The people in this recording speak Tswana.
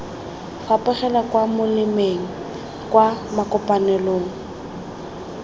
fapogela kwa molemeng kwa makopanelong